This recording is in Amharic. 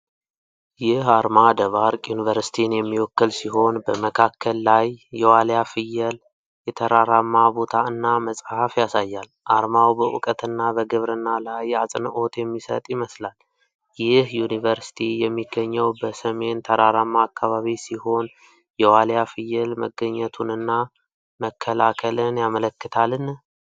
ይህ አርማ ደባርቅ ዩኒቨርሲቲን የሚወክል ሲሆን፣ በመካከል ላይ የዋልያ ፍየል፣ የተራራማ ቦታ እና መጽሐፍ ያሳያል። አርማው በእውቀትና በግብርና ላይ አጽንኦት የሚሰጥ ይመስላል። ይህ ዩኒቨርሲቲ የሚገኘው በሲሚን ተራራማ አካባቢ ሲሆን፣ የዋልያ ፍየል መገኘቱንና መከላከልን ያመለክታልን?